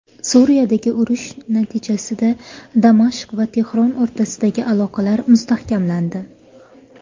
Suriyadagi urush natijasida Damashq va Tehron o‘rtasidagi aloqalar mustahkamlandi.